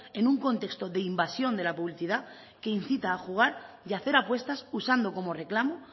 en un contexto de invasión de la publicidad que incita a jugar y hacer apuestas usando como reclamo